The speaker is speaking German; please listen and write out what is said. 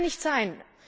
Das kann nicht sein!